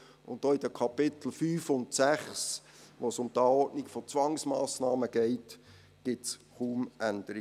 Und auch in den Kapiteln 5 und 6, in denen es um die Anordnung von Zwangsmassnahmen geht, gibt es kaum Änderungen.